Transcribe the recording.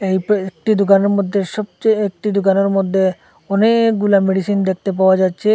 একটি দুকানের মধ্যে সবচেয়ে একটি দুকানের মধ্যে অনেকগুলা মেডিসিন দেখতে পাওয়া যাচ্ছে।